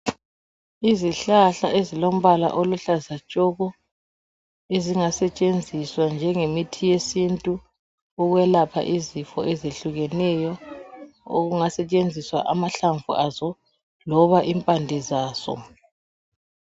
Izihlahla ezilombala oluhlaza tshoko ezingasetshenziswa njengemithi yesintu ukwelapha izifo ezehlukeneyo okungasetshenziswa amahlamvu azo loba impande zazo.